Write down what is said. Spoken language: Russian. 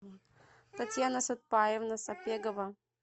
татьяна сатпаевна сапегова